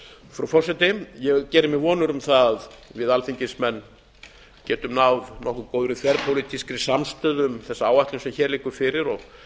frú forseti ég geri mér voni árum það að við alþingismenn getum náð nokkuð þverpólitískri samstöðu um þessa áætlun sem hér liggur fyrir og